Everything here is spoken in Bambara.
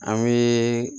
An bɛ